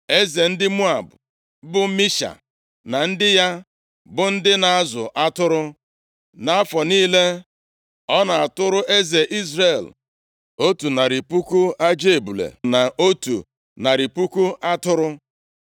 Eze ndị Moab, bụ Misha, na ndị ya, bụ ndị na-azụ atụrụ. Nʼafọ niile, ọ na-atụrụ eze Izrel otu narị puku ajị ebule, na otu narị puku atụrụ.